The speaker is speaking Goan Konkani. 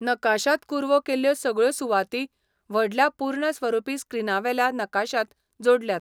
नकाशांत कुरवो केल्ल्यो सगळ्यो सुवाती व्हडल्या पूर्णस्वरुपी स्क्रीनावेल्या नकाशाक जोडल्यात.